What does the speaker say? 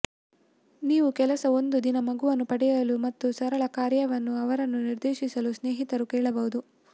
ನೀವು ಕೆಲಸ ಒಂದು ದಿನ ಮಗುವನ್ನು ಪಡೆಯಲು ಮತ್ತು ಸರಳ ಕಾರ್ಯಗಳನ್ನು ಅವರನ್ನು ನಿರ್ದೇಶಿಸಲು ಸ್ನೇಹಿತರು ಕೇಳಬಹುದು